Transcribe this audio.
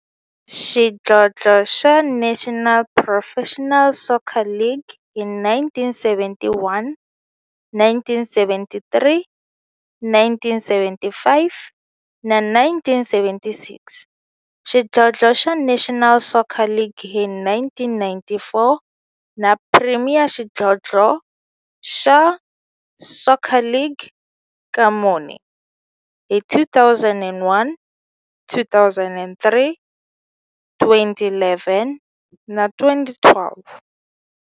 Xidlodlo xa National Professional Soccer League hi 1971, 1973, 1975 na 1976, xidlodlo xa National Soccer League hi 1994, na Premier Xidlodlo xa Soccer League ka mune, hi 2001, 2003, 2011 na 2012.